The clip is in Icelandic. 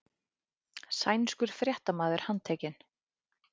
Sænskur fréttamaður handtekinn